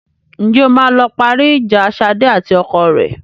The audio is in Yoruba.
Ǹjẹ́ o máa lọ parí ìjà Ṣadé àti ọkọ rẹ?